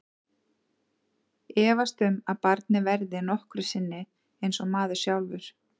Efast um að barnið verði nokkru sinni eins og maður sjálfur.